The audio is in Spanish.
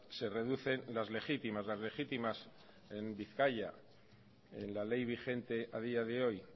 se reducen las legítimas las legítimas en bizkaia en la ley vigente a día de hoy